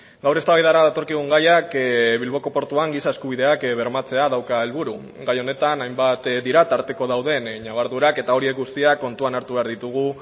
gaur eztabaidara datorkigun gaiak bilboko portuan giza eskubideak bermatzea dauka helburu gai honetan hainbat dira tarteko dauden ñabardurak eta horiek guztiak kontuan hartu behar ditugu